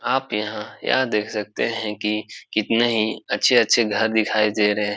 आप यहाँ यह देख सकते हैं की कितने ही अच्छे-अच्छे घर दिखाई दे रहे --